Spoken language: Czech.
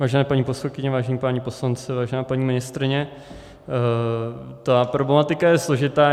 Vážené paní poslankyně, vážení páni poslanci, vážená paní ministryně, ta problematika je složitá.